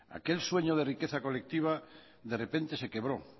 aquel sueño de riqueza colectiva de repente se quebró